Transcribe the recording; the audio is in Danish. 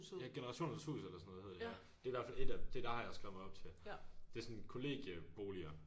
Ja generationernes hus eller sådan noget hedder det ja det er i hvert fald et af dem det der har jeg skrevet mig op til det er sådan kollegieboliger